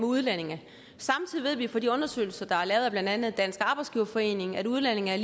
udlændinge samtidig ved vi fra de undersøgelser der er lavet af blandt andet dansk arbejdsgiverforening at udlændinge er